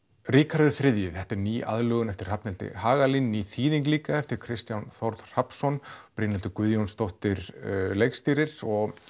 Ríkharður þrjú þetta er ný aðlögun eftir Hrafnhildi Hagalín ný þýðing líka eftir Kristján Þórð Hrafnsson Brynhildur Guðjónsdóttir leikstýrir